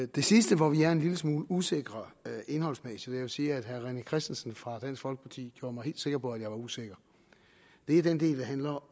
det sidste hvor vi er en lille smule usikre indholdsmæssigt og jeg vil sige at herre rené christensen fra dansk folkeparti gjorde mig helt sikker på at jeg var usikker er den del der handler